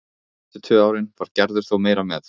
Fyrstu tvö árin var Gerður þó meira með.